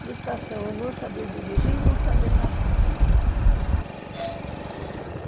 Frustração é não saber dirigir e não saber nadar.